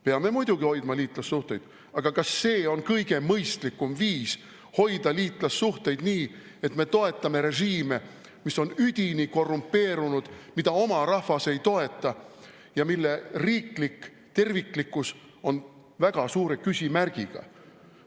" Peame muidugi hoidma liitlassuhteid, aga kas see on kõige mõistlikum viis hoida liitlassuhteid, et me toetame režiime, mis on üdini korrumpeerunud, mida oma rahvas ei toeta ja mille riiklik terviklikkus on väga suure küsimärgiga?